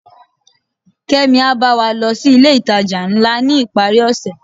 kemi a ba wa lo si ilé itaja ńlá ni iparí ose